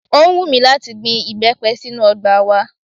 Ó wùn mí láti gbin ìbẹ́pẹ sínú ọgbà wa